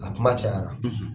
A kuma cayara.